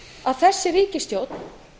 að þessi ríkisstjórn